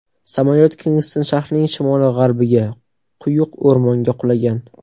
Samolyot Kingston shahrining shimoli-g‘arbiga, quyuq o‘rmonga qulagan.